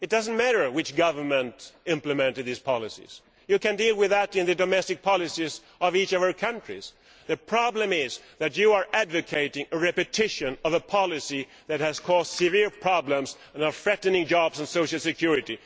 It does not matter which government implemented these policies, you can deal with that in the domestic policies of each of our countries, the problem is that you are advocating repeating a policy that has caused severe problems and is threatening jobs and social security.